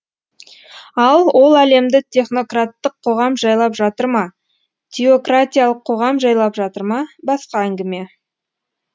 ал ол әлемді технократтық қоғам жайлап жатыр ма теократиялық қоғам жайлап жатыр ма басқа әңгіме